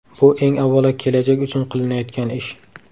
Bu eng avvalo kelajak uchun qilinayotgan ish.